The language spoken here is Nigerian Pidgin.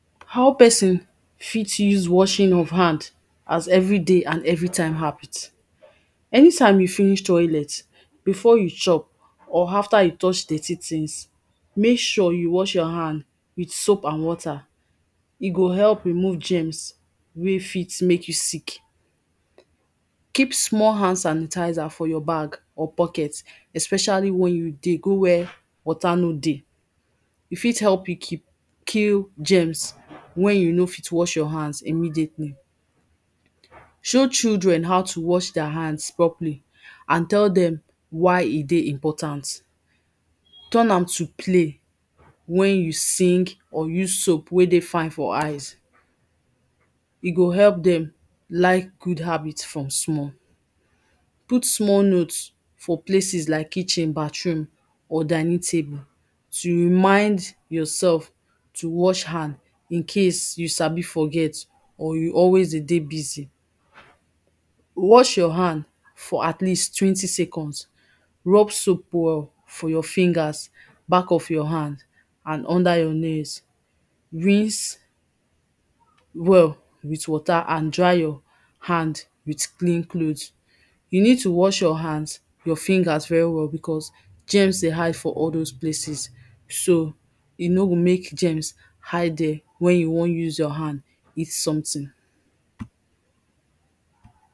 how person, fit use washing of hand, as everyday and everytime habit, anytime you finish toilet, before you chop, or after you touch dirty tings, mek sure you wash your hand with soap and water, e go help remove germs, wey fit mek you sick keep small hand sanitizer for your bag or pocket, especially wen you dey go where water no dey e fit help you keep, kill germs, wen you no fit wash your hand immediately. show children how to wash deir hands properly, and tell dem, why e dey important, turn am to play wen you sing, or use soap wey dey fine for eyes, e go help dem like good habit from small. put small note for places like kitchen, bathroom or dining table, to remind yoursef to wash hand. incase you sabi forget, or you always de dey busy. wash your hand, for at least twenty seconds, rub soap well for your fingers, back of your hand, and under your nails. rinse well with water and dry your hand with clean clothes. you need to wash your hands, your fingers very well because, germs dey hide for all dose places. so, e no go mek germs hide dere wen you wan use your hand eat someting.